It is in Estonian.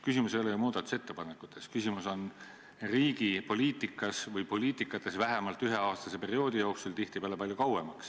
Küsimus ei ole ju muudatusettepanekutes, küsimus on riigi poliitikas või poliitikates vähemalt üheaastase perioodi jooksul, tihtipeale palju kauem.